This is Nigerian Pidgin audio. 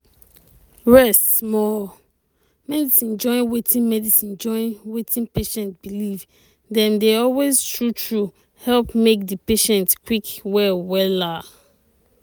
rest small. medicine join wetin medicine join wetin patient believe dem dey always true true help make di patient quick heal wella.